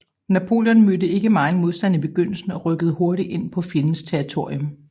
Napoleon mødte ikke megen modstand i begyndelsen og rykkede hurtigt ind på fjendens territorium